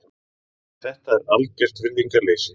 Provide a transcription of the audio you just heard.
Þetta er algert virðingarleysi.